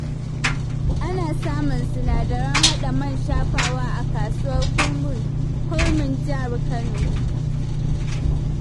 Ana samun sinadaran haɗa man shafawa a kasuwar kurmin jihar Kano.